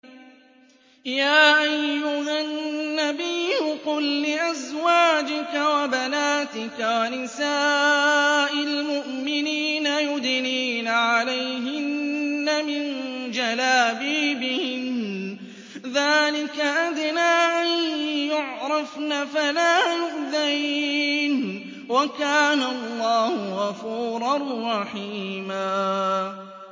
يَا أَيُّهَا النَّبِيُّ قُل لِّأَزْوَاجِكَ وَبَنَاتِكَ وَنِسَاءِ الْمُؤْمِنِينَ يُدْنِينَ عَلَيْهِنَّ مِن جَلَابِيبِهِنَّ ۚ ذَٰلِكَ أَدْنَىٰ أَن يُعْرَفْنَ فَلَا يُؤْذَيْنَ ۗ وَكَانَ اللَّهُ غَفُورًا رَّحِيمًا